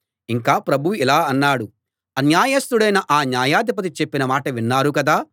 ఇంకా ప్రభువు ఇలా అన్నాడు అన్యాయస్తుడైన ఆ న్యాయాధిపతి చెప్పిన మాట విన్నారు కదా